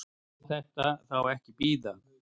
Má þetta þá ekki bíða?